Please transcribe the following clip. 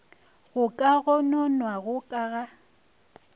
go ka gononwago ka ga